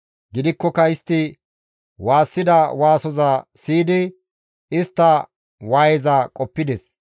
Gidikkoka istti waassida waasoza siyidi istta waayeza qoppides.